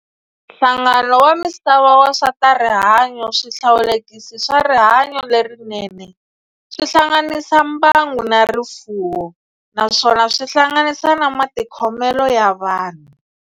Nhlangano wa misava wa swa tarihanyo, swihlawulekisi swa rihanyo lerinene swi hlanganisa mbangu na rifuwo, naswona swi hlanganisa na matikhomele ya vanhu.